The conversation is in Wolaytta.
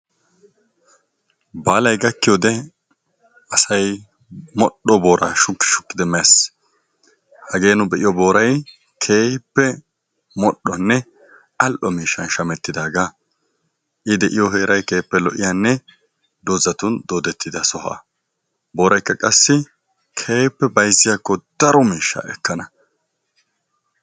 Baalay gakkiyoode asay modhdho boora shukki shukkid mees. hagee nu be'iyo booray keehippe modhdhonne al''o miishshan shemmetidaaga, I de'iyo heeray keehippe lo''iya sohuwanne doozatun doodetida sohuwa. booraykka qassi keehippe bayzziyaakko daro miishsha ekkana.